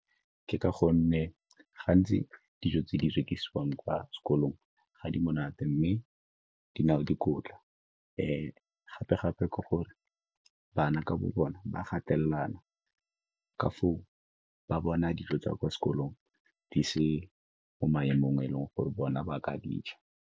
Ke ka gonne gantsi dijo tse di rekisiwang kwa sekolong ga di monate, mme di na le dikotla. Gape-gape ke gore bana ka bona ba gatelela ka foo ba bona dijo tsa kwa sekolong di se mo maemong a e leng gore bona ba ka di ja.